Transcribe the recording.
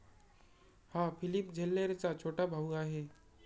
हा फिलिप झेल्लेरचा छोटा भाऊ आहे.